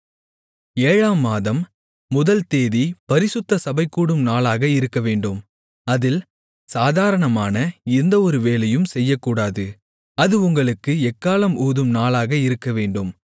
ஏழாம் மாதம் முதல் தேதி பரிசுத்த சபைகூடும் நாளாக இருக்கவேண்டும் அதில் சாதாரணமான எந்தஒரு வேலையும் செய்யக்கூடாது அது உங்களுக்கு எக்காளம் ஊதும் நாளாக இருக்கவேண்டும்